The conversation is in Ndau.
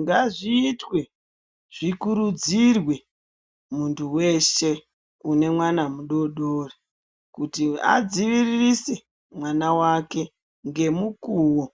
Ngazviitwe zvikuridzirwe muntu weshe une mwana mudodori kuti adziviririse mwana wake nemukuwo